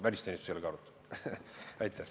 Välisteenistus ei ole ka seda arutanud.